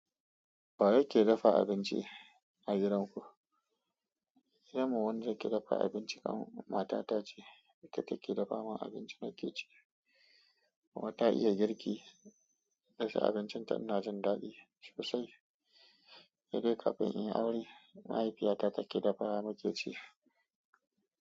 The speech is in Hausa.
Wa yake dafa abinci a gidan ku? Sai mu wundi jeki dafa abinci kam, mata ta ce. Ita take dafa man abinci nake ci. Kuma ta iya girki, dasa abincin ta ina jin daɗi sosai. Sai dai kafin inyi aure mahaifiyata take dafawa mu ke ci.